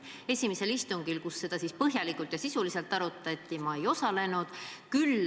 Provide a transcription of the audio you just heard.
Esimesel istungil, kus seda põhjalikult ja sisuliselt arutati, ma ei osalenud.